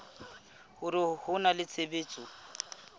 hore ho na le tshebetso